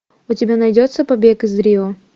у тебя найдется побег из рио